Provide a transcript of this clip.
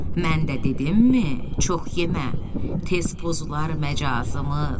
Mən də dedimmi çox yemə, tez pozular məcazımız.